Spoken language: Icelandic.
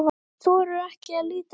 Hún þorir ekki að líta við.